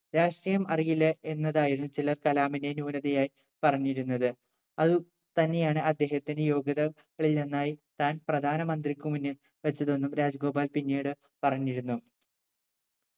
രാഷ്ട്രീയം അറിയില്ല എന്നതായിരുന്നു ചിലർ കലാമിനെ ന്യൂനതയായി പറഞ്ഞിരുന്നത് അതു തന്നെയാണ് അദ്ദേഹത്തിന്റെ യോഗ്യത കളിൽ ഒന്നായി താൻ പ്രധാനമന്ത്രിക്കു മുന്നിൽ വെച്ചതെന്നും രാജഗോപാൽ പിന്നീട് പറഞ്ഞിരുന്നു